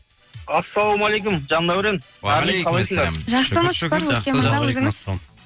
ассалаумалейкум жандаурен қалайсыңдар алейкумассалам жақсымыз шүкір өркен мырза өзіңіз